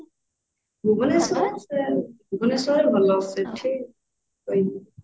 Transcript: ଭୁବନେଶ୍ବର ଭୁବନେଶ୍ବରରେ ଭଲ ସେଠି